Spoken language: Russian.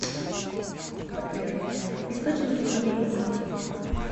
сбер источники тувинцы